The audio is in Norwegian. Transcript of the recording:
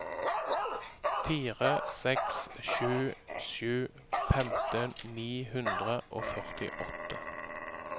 fire seks sju sju femten ni hundre og førtiåtte